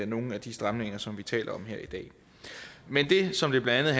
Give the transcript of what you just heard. nogle af de stramninger som vi taler om her i dag men det som det blandt